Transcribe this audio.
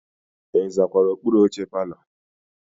Ị zakwara okpuru oche palọ?